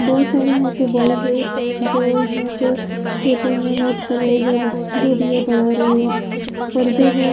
बहुत सारे यहां पे बॉयज है जो यहां पे पेपर में नोट कर रहे हैं जो जो भी ये पढ़ा रही है बर्थडे है।